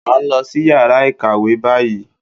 À ń lọ sí yàrá ìkàwé báyìí